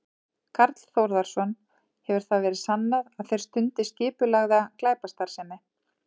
Karl Þórðarson: Hefur það verið sannað að þeir stundi skipulagða glæpastarfsemi?